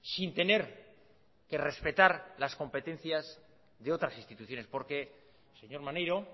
sin tener que respetar las competencias de otras instituciones porque señor maneiro